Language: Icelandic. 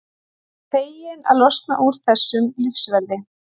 Ég er svo feginn að losna úr þessum lífverði.